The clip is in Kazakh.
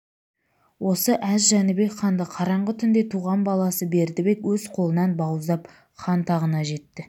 осы әз жәнібек ханды қараңғы түнде туған баласы бердібек өз қолынан бауыздап хан тағына жетті